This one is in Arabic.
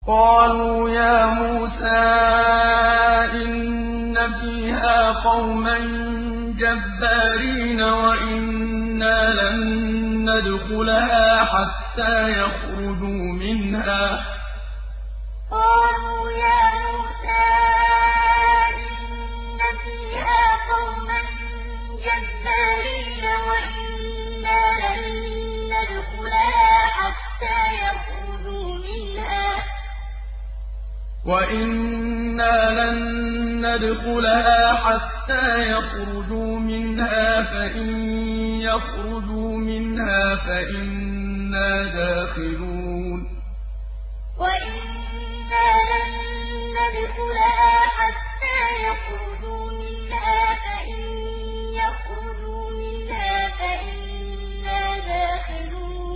قَالُوا يَا مُوسَىٰ إِنَّ فِيهَا قَوْمًا جَبَّارِينَ وَإِنَّا لَن نَّدْخُلَهَا حَتَّىٰ يَخْرُجُوا مِنْهَا فَإِن يَخْرُجُوا مِنْهَا فَإِنَّا دَاخِلُونَ قَالُوا يَا مُوسَىٰ إِنَّ فِيهَا قَوْمًا جَبَّارِينَ وَإِنَّا لَن نَّدْخُلَهَا حَتَّىٰ يَخْرُجُوا مِنْهَا فَإِن يَخْرُجُوا مِنْهَا فَإِنَّا دَاخِلُونَ